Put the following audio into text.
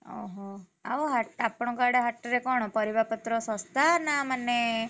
ଓହୋ, ଆଉ ହା~ ଆପଣଙ୍କ ଆଡେ ହାଟରେ କଣ ପାରିବାପତ୍ର ଶସ୍ତା ନା ମାନେ।